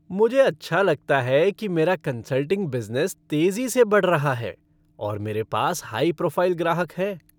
मुझे अच्छा लगता है कि मेरा कन्सल्टिंग बिज़नेस तेज़ी से बढ़ रहा है, और मेरे पास हाई प्रोफ़ाइल ग्राहक हैं।